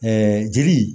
jeli